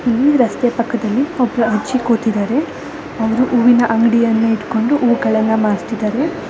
ಈ ರಸ್ತೆಯ ಪಕ್ಕದಲ್ಲಿ ಒಬ್ಬ ಅಜ್ಜಿ ಕೂತಿದಾರೆ ಅವ್ರು ಹೂ ಮಾರ್ತೀದಾರೆ.